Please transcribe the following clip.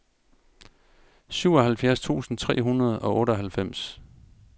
syvoghalvfjerds tusind tre hundrede og otteoghalvfems